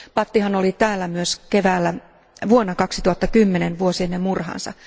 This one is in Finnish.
Bhattihan oli täällä myös keväällä vuonna 2010, vuosi ennen murhaansa.